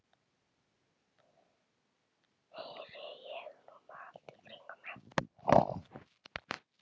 heyri ég hrópað allt í kringum mig.